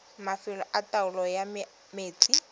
mafelo a taolo ya metsi